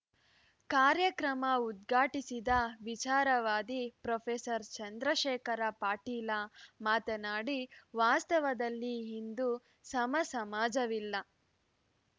ಕಾರ್ಯಕ್ರಮ ಉದ್ಘಾಟಿಸಿದ ವಿಚಾರವಾದಿ ಪ್ರೊಫೆಸರ್ ಚಂದ್ರಶೇಖರ ಪಾಟೀಲ ಮಾತನಾಡಿ ವಾಸ್ತವದಲ್ಲಿ ಇಂದು ಸಮ ಸಮಾಜವಿಲ್ಲ